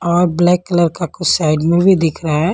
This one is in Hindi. और ब्लैक कलर का कुछ साइड में भी दिख रहा है।